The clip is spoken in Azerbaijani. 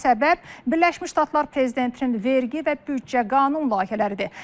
Buna səbəb Birləşmiş Ştatlar prezidentinin vergi və büdcə qanun layihələridir.